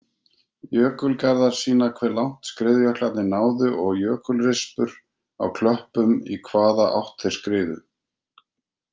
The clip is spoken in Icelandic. Jökulgarðar sýna hve langt skriðjöklarnir náðu og jökulrispur á klöppum í hvaða átt þeir skriðu.